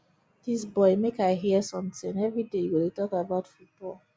dis boy make i hear something everyday you go dey talk about football